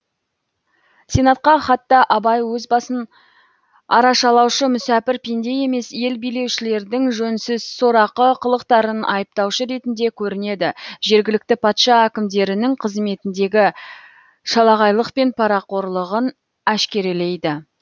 сенатқа хатта абай өз басын арашалаушы мүсәпір пенде емес ел билеушілердің жөнсіз сорақы қылықтарын айыптаушы ретінде көрінеді жергілікті патша әкімдерінің қызметіндегі шалағайлық пен парақорлығын әшкерелейді